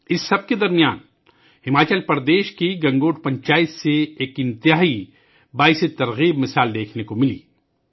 اس سب کے درمیان ہماچل پردیش کی گنگوٹ پنچایت سے ایک بڑی تحریک دینے والی مثال بھی دیکھنے کو ملی ہے